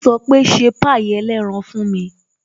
Ó sọ pé "ṣe pie ẹlẹ́ran fún mi"